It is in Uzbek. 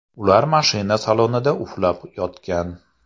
Ular mashina salonida uxlab yotgan.